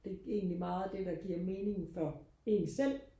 det er egentlig meget det der giver mening for en selv